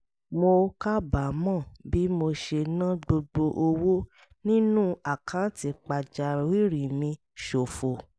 mo kábàámọ̀ bí mo ṣe ná gbogbo owó nínú àkáǹtì pàjáwìrì mi ṣòfò